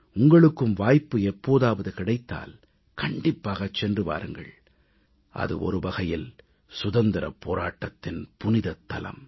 உங்களுக்கும் வாய்ப்பு எப்போதாவது கிடைத்தால் கண்டிப்பாகச் சென்று வாருங்கள் அது ஒருவகையில் சுதந்திரப் போராட்டத்தின் புனிதத் தலம்